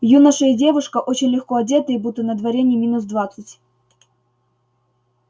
юноша и девушка очень легко одетые будто на дворе не минус двадцать